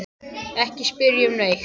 Ekki spyrja um neitt.